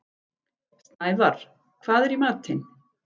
Snævarr, hvað er í matinn?